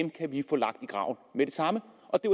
samme